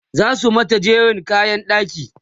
zasu mata jeren kayan ɗaki